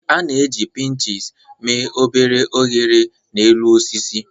A na-eji pinches mee obere oghere n'elu osisi.